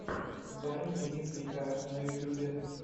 вайн дмитрий к на ютюбе